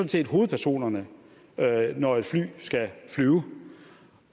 set hovedpersonerne når et fly skal flyve